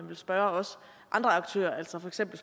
vil spørge andre aktører altså for eksempel